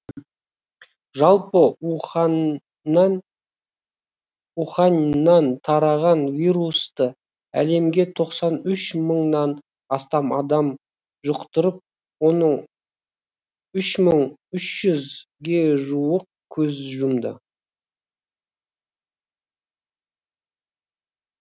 жалпы уханьнан тараған вирусты әлемде тоқсан үш мыңнан астам адам жұқтырып оның үш мың үш жүзге жуығы көз жұмды